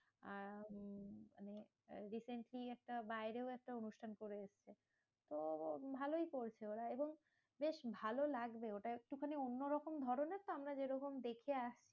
আর উম মানে defence নিয়ে একটা বাইরেও একটা অনুষ্ঠান করে এসেছে। তো ভালোই করছে ওরা এবং বেশ ভালো লাগবে, ওটা একটুখানি অন্য রকম ধরণের তো আমরা যেরকম দেখে আসছি